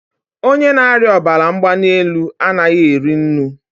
onye na-arịa ọbara mgbali elu anaghị eri nnu.